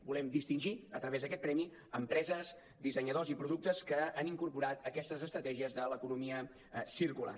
volem distingir a través d’aquest premi empreses dissenyadors i productes que han incorporat aquestes estratègies de l’economia circular